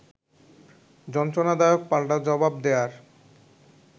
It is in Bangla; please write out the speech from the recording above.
যন্ত্রণাদায়ক পাল্টা জবাব দেয়ার